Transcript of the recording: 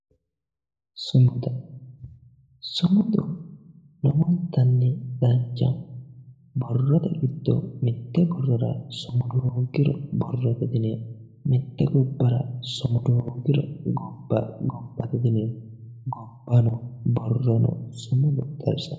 Sumuda sumudu lowontanni danchaho borrote giddo mitte borrora sumudu hoogiro borrote diyineemmo mitte gobbara sumudu hoogiro gobba gobbate diyineemmo gobbano borrono sumudu xawisanno